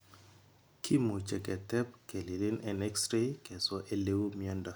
Kimuche ketep kelilin en x ray keswa eleu miondo.